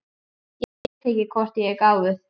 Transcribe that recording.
Ég veit ekki hvort ég er gáfuð.